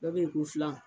Dɔ bɛ yen ko filan